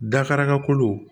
Dakaraka kolo